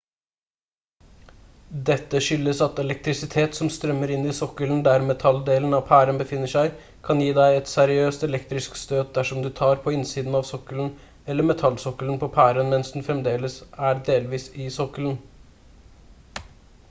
dette skyldes at elektrisitet som strømmer inn i sokkelen der metalldelen av pæren befinner seg kan gi deg et seriøst elektrisk støt dersom du tar på innsiden av sokkelen eller metallsokkelen på pæren mens den fremdeles er delvis i sokkelen